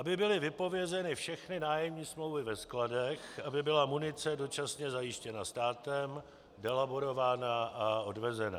Aby byly vypovězeny všechny nájemní smlouvy ve skladech, aby byla munice dočasně zajištěna státem, delaborována a odvezena.